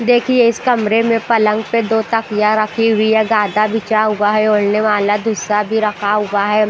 देखिए इस कमरे मे पलंग पे दो तकिया रखी हुआ है गादा बिछा हुआ है ओढ़ने वाला दूसरा भी रखा हुआ है।